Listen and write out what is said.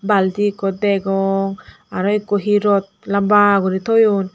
balti ekko degong aro ekko hi rot lamba guri toyon.